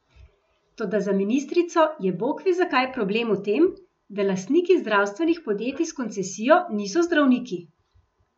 Toda za ministrico je bogve zakaj problem v tem, da lastniki zdravstvenih podjetij s koncesijo niso zdravniki!